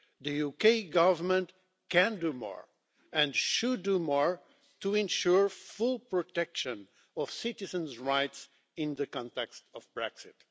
The UK Government can do more and should do more to ensure full protection of citizens' rights in the context of Brexit.